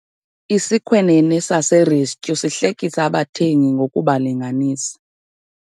Isikhwenene saserestyu sihlekisa abathengi ngokubalinganisa.